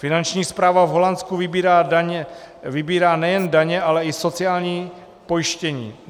Finanční správa v Holandsku vybírá nejen daně, ale i sociální pojištění.